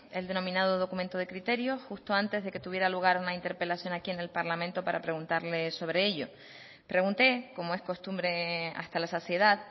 el denominado documento de criterio justo antes de que tuviera lugar una interpelación aquí en el parlamento para preguntarles sobre ello pregunté como es costumbre hasta la saciedad